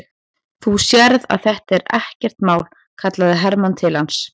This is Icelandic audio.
Þú sérð að þetta er ekkert mál, kallaði Hermann til hans.